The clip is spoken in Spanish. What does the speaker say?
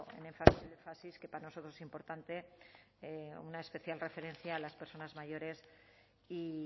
el énfasis que para nosotros es importante una especial referencia a las personas mayores y